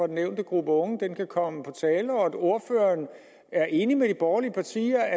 den nævnte gruppe unge kan kan komme på tale og at ordføreren er enig med de borgerlige partier